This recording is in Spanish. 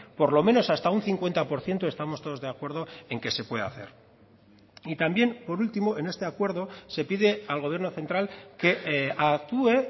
por lo menos hasta un cincuenta por ciento estamos todos de acuerdo en que se puede hacer y también por último en este acuerdo se pide al gobierno central que actúe